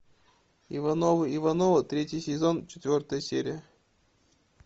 ивановы ивановы третий сезон четвертая серия